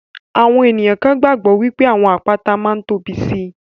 Àwọn ènìyàn kan gbàgbọ́ wípé àwọn àpáta máa ń tóbi síi.